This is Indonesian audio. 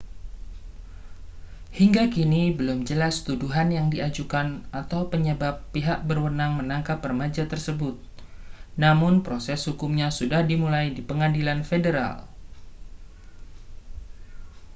hingga kini belum jelas tuduhan yang diajukan atau penyebab pihak berwenang menangkap remaja tersebut namun proses hukumnya sudah dimulai di pengadilan federal